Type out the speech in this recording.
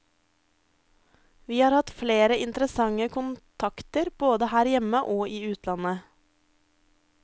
Vi har hatt flere interessante kontakter både her hjemme og i utlandet.